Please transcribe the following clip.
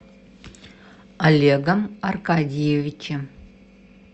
олегом аркадьевичем